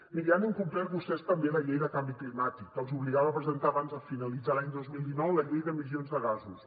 miri han incomplert vostès també la llei de canvi climàtic que els obligava a presentar abans de finalitzar l’any dos mil dinou la llei d’emissions de gasos